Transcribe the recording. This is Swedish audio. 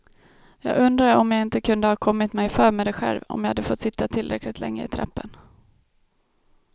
Jag undrade om jag inte kunde ha kommit mig för med det själv, om jag fått sitta tillräckligt länge i trappen.